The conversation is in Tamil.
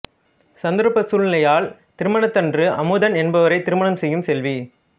சந்தர்ப்ப சூழ்நிலையால் திருமணத்தன்று அமுதன் என்பவரை திருமணம் செய்யும் செல்வி